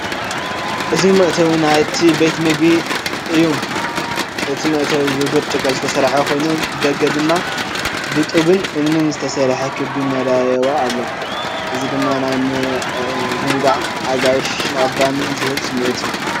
እዚ መእተዊ ናይቲ ቤት ምግቢ ዘርኢ እዩ። እቲ መእተዊ ብብርጭቆ ዝተሰርሐ ኮይኑ፡ ብደገ ድማ ብጡብን እምንን ዝተሰርሐ ክቢ መደያይቦ ኣሎ። እዚ ድማ ናይ ምዝንጋዕን ኣጋይሽ ምቕባልን ዝህብ ስምዒት እዩ ።